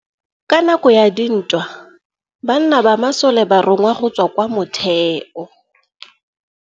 Ka nakô ya dintwa banna ba masole ba rongwa go tswa kwa mothêô.